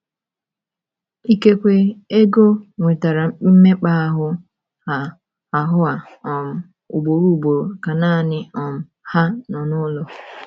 Ikekwe Ego nwetara mmekpa ahụ́ a ahụ́ a um ugboro ugboro ka nanị um ha nọ n’ụlọ.